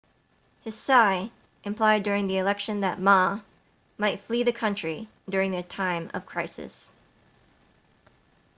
hsieh implied during the election that ma might flee the country during a time of crisis